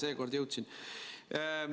Seekord jõudsin.